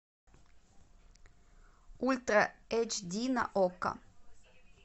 ультра эйч ди на окко